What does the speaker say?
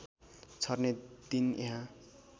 छर्ने दिन यहाँ